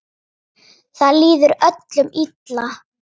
Það líður öllum illa.